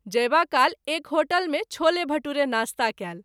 जयबा काल एक होटल मे छोले भटूरे नास्ता कएल।